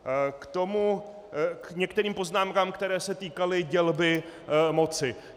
K některým poznámkám, který se týkaly dělby moci.